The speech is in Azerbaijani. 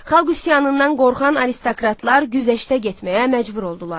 Xalq üsyanından qorxan aristokratlar güzəştə getməyə məcbur oldular.